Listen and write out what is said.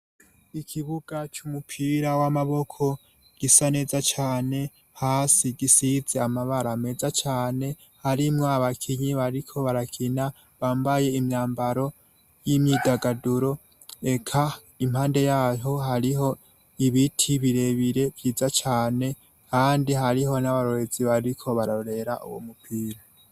Ikibuga c'umupira w'amaboko gisa neza cane, hasi gisize amabara meza cane ,harimwo abakinyi bariko barakina bambaye imyambaro y'imyidagaduro ,eka impande yaho hariho ibiti birebire vyiza cane kandi hariho n'abarorezi bariko barorera uwo mupira.